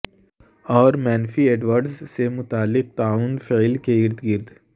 اور منفی ایڈورڈز سے متعلق معاون فعل کے ارد گرد